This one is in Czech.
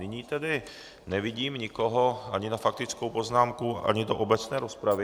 Nyní tedy nevidím nikoho ani na faktickou poznámku, ani do obecné rozpravy.